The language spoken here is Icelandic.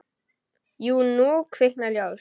Jú, nú kviknar ljós.